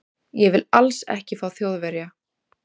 Ég vil ALLS ekki fá Þjóðverja.